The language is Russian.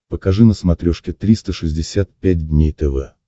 покажи на смотрешке триста шестьдесят пять дней тв